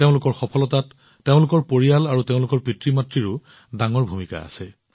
তেওঁলোকৰ সফলতাত তেওঁলোকৰ পৰিয়াল আৰু তেওঁলোকৰ পিতৃমাতৃৰো এক ডাঙৰ ভূমিকা আছে